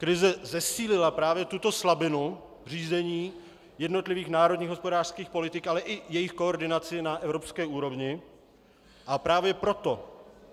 Krize zesílila právě tuto slabinu řízení jednotlivých národních hospodářských politik, ale i jejich koordinaci na evropské úrovni, a právě proto